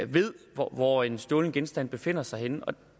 ved hvor hvor en stjålen genstand befinder sig henne